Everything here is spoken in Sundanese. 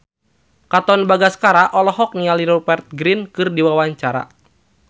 Katon Bagaskara olohok ningali Rupert Grin keur diwawancara